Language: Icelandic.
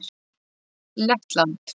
Lettland